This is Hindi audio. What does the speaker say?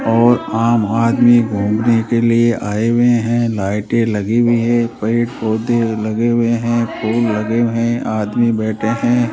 और आम आदमी घूमने के लिए आए हुए हैं लाइट लगी हुई है पेड़ पौधे लगे हुए हैं फूल लगे हुए हैं आदमी बैठे हैं।